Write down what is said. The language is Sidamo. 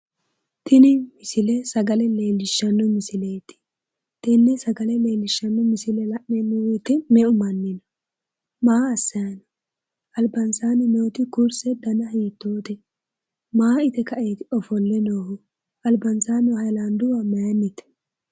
tini misile sagale leellishshanno misileeti tenne sagale leellishshanno misile la'neemmo wote meu manni no? maa assanni no? albansaanni nooti kurse dana hiittoote? maa ite kaeeti ofolle noohu? albansaanni nooti hayiilaanduwa mayiinnite?